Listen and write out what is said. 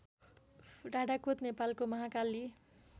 डाडाकोत नेपालको महाकाली